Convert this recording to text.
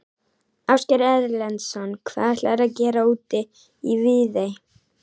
Ásgeir Erlendsson: Hvað ætlarðu að gera úti í Viðey?